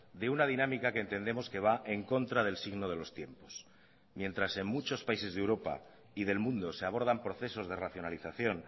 de una dinámica que entendemos que va en contra del signo de los tiempos mientras en muchos países de europa y del mundo se abordan procesos de racionalización